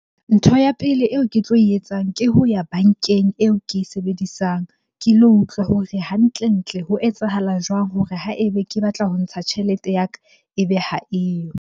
Ntho ya pele eo ke tlo e etsang ke ho ya bankeng eo ke e sebedisang. Ke lo utlwa hore hantle-ntle ho etsahala jwang hore ha ebe ke batla ho ntsha tjhelete ya ka ebe ha eyo?